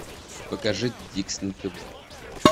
покажи диксон тв